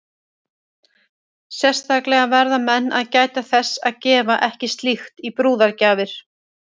Sérstaklega verða menn að gæta þess að gefa ekki slíkt í brúðargjafir.